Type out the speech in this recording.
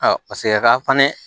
paseke a ka fana